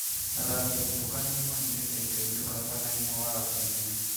Athaki "athutukania" nimanyitite itemi ũratani-ini wa atumia